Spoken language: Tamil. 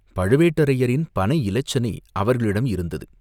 பழுவேட்டரையரின் பனை இலச்சினை அவர்களிடம் இருந்தது.